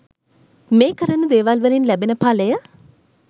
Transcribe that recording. මේ කරන දේවල් වලින් ලැබෙන පලය